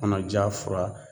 Kɔnɔja fura